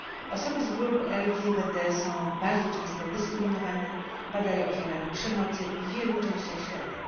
Osoby z grup LGBT są bardzo często dyskryminowane, padają ofiarami przemocy w wielu częściach świata.